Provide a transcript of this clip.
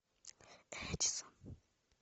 эдисон